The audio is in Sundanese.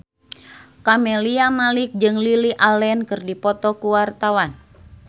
Camelia Malik jeung Lily Allen keur dipoto ku wartawan